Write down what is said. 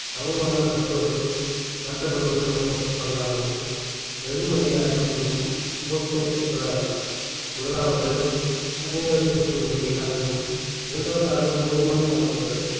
சமமாக நடத்துப்படு~ நடத்தப்படுவது மட்டுமல்லாமல் வெகுமதியை அளிப்பதிலும் சமத்துவம் கிடைப்பதாகவும் முதலாவது சமூக சிறப்புரிமை இல்லாததும் இரண்டாவதாக போதுமான வாய்ப்புகள்